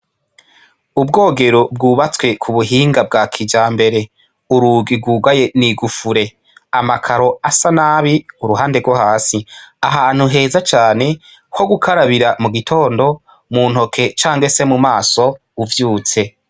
Ubwogero bwubatswe kubuhinga bwa kijambere urugi rwugaye n'igufure amakaro asa nabi kuruhande rwo hasi ahantu heza cane hogukarabira mugitondo mu ntoke canke mumaso canke uvyutse.